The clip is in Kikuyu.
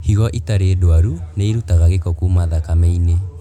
Higo itarĩ ndwaru nĩirutaga gĩko kuma thakame-inĩ